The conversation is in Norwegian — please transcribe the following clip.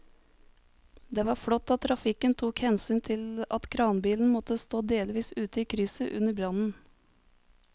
Det var flott at trafikken tok hensyn til at kranbilen måtte stå delvis ute i krysset under brannen.